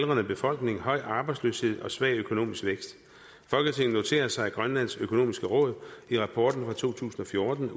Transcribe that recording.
aldrende befolkning høj arbejdsløshed og svag økonomisk vækst folketinget noterer sig at grønlands økonomiske råd i rapporten fra to tusind og fjorten